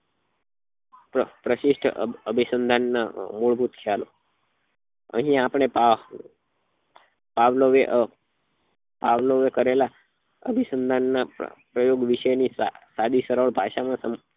પ્રશિષ્ટ અભિસંધાન ના મૂળભૂત ખ્યાલો અહી આપડે પાવ્લાવે પાવલે પાવ્લવે કરેલા અભિસંધાન નાં પ્રયોગ વિશે ની સાદી સરળ ભાષા માં